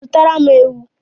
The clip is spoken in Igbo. Zụtara m ewu